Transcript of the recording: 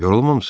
Yorulmamısız?